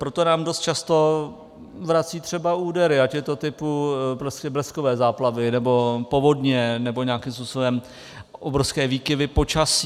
Proto nám dost často vrací třeba údery, ať je to typu bleskové záplavy nebo povodně, nebo nějakým způsobem obrovské výkyvy počasí.